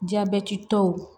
Jabɛti tɔw